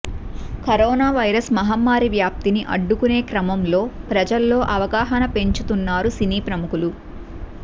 corona virus మహమ్మారి వ్యాప్తిని అడ్డుకునే క్రమంలో ప్రజల్లో అవగాహన పెంచుతున్నారు సినీ ప్రముఖులు